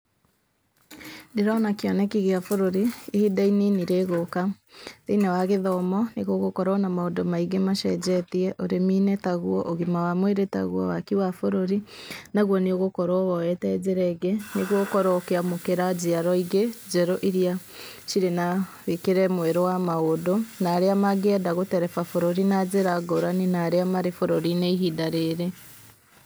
Ndĩrona kĩoneki gĩa bũrũri ihinda inini rĩgũka, thĩiniĩ wa gĩthomo nĩgũgũkorwo na maũndũ aingĩ macenjetie, ũrĩmi-inĩ taguo, ũgima wa mwĩrĩ taguo, waki wa bũrũri naguo nĩũgũkorwo woete njĩra ĩngĩ, nĩguo ũkorwo ũkĩamũkĩra njĩarwa ingĩ njerũ iria cirĩ na mwĩkĩre mwerũ wa maũndũ, na arĩa mangĩenda gũtereba bũrũri na njĩra ngũrani na arĩa marĩ bũrũri-inĩ ihinda rĩrĩ.